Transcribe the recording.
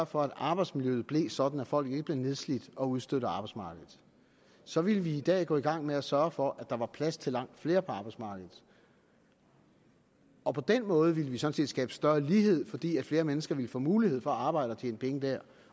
for at arbejdsmiljøet blev sådan at folk ikke blev nedslidt og udstødt af arbejdsmarkedet så ville vi i dag gå i gang med at sørge for at der var plads til langt flere på arbejdsmarkedet og på den måde ville vi sådan set skabe større lighed fordi flere mennesker ville få mulighed for at arbejde og tjene penge der